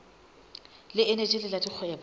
le eneji le la dikgwebo